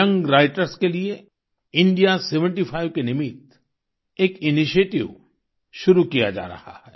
young writers के लिए India seventy five के निमित्त एक इनिशिएटिव शुरू किया जा रहा है